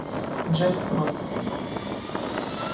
джек фрост